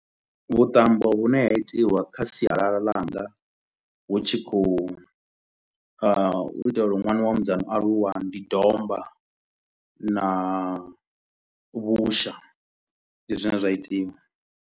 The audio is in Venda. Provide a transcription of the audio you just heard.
Vhuṱambo vhune ha itiwa kha sialala langa hu tshi kho u a u itela uri ṅwana wa musidzana o aluwa, ndi domba na vhusha ndi zwine zwa itiwa.